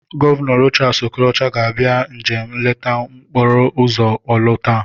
Gọvanọ Rochas Okorocha ga-abịa njem nleta n'okporoụzọ Orlu taa.